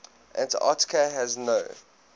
antarctica has no